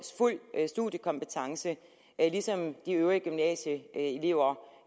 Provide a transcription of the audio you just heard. fuld studiekompetence ligesom de øvrige gymnasieelever